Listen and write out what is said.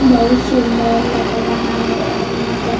बहुत सुंदर लग रहा है और यहां पर --